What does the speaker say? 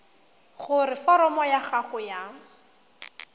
gore foromo ya gago ya